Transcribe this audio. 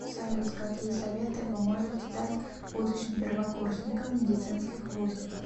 салют какие советы вы можете дать будущим первокурсникам медицинских вузов